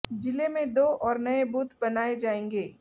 जिले में दो और नए बूथ बनाए जाएंगे